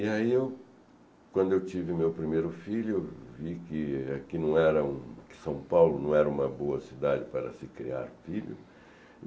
E aí, quando eu tive meu primeiro filho, eu vi que aqui não era um... São Paulo não era uma boa cidade para se criar filho.